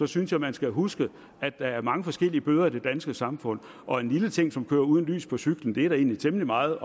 synes jeg man skal huske at der er mange forskellige bøder i det danske samfund og en lille ting som at køre uden lys på cyklen er det da egentlig temmelig meget